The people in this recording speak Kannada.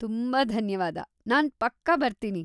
ತುಂಬಾ ಧನ್ಯವಾದ, ನಾನ್ ಪಕ್ಕಾ ಬರ್ತೀನಿ!